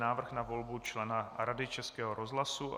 Návrh na volbu člena Rady Českého rozhlasu